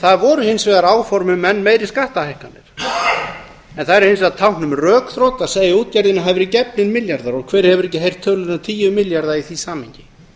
það voru hins vegar áform um enn meiri skattahækkanir það er hins vegar tákn um rökþrot að segja að útgerðinni hafi verið gefnir milljarðar og hver hefur ekki heyrt tölur um tíu milljarða í því samhengi